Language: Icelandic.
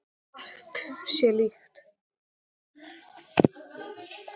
Margt sé líkt.